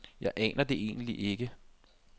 Jeg aner det egentlig ikke.